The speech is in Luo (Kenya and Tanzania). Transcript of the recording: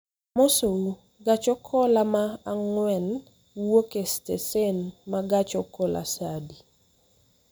Amosou, gach okoloma ang'wen wuok e stesen ma gach okolosaa adi